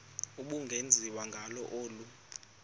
ubungenziwa ngalo olu